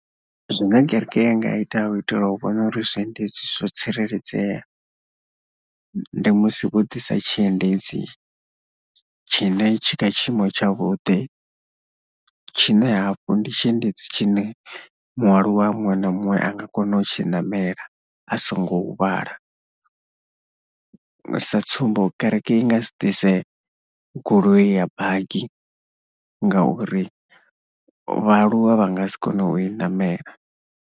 Zwine kereke yanga ya ita u itela u vhona uri zwiendedzi zwo tsireledzea, ndi musi vho ḓisa tshiendedzi tshine tshi kha tshiimo tshavhuḓi. Tshinee hafhu ndi tshiendedzi tshine mualuwa muṅwe na muṅwe a nga kona u tshi ṋamela a songo huvhala. Sa tsumbo, kereke i nga si ḓise goloi ya baki ngauri vhaaluwa vha nga si kone u i ṋamela.